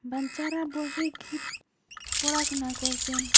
বাঞ্চারা বসে কি পড়াশোনা করচেন।